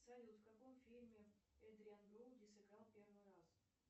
салют в каком фильме эдриан броуди сыграл первый раз